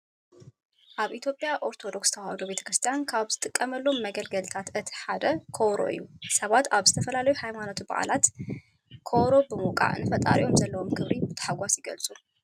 ኣብ ኢትዮጵያ ኦርቶዶክስ ተዋህዶ ቤተክርስቲያን ካብ ዝጥቀምሎም መገልገልታት እቲ ሓደ ኮበሮ እዩ። ሰባት ኣብ ዝተፈላለዩ ሃይማኖታዊ በዓላት ከበሮ ብምውቃዕ ንፈጣሪኦም ዘለዎም ክብሪ ብታሕጓስ ይገልፁ።